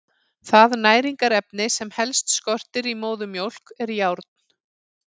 Það næringarefni sem helst skortir í móðurmjólk er járn.